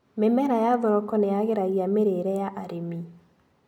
Mĩmera ya thoroko nĩyagĩragia mĩrĩire ya arĩmi.